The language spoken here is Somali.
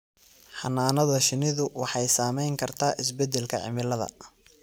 Xannaanada shinnidu waxay saamayn kartaa isbedelka cimilada.